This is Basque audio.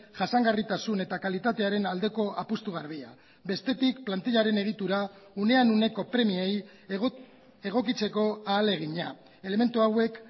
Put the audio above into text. jasangarritasun eta kalitatearen aldeko apustu garbia bestetik plantilaren egitura unean uneko premiei egokitzeko ahalegina elementu hauek